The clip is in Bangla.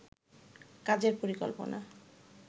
কাজের পরিকল্পনা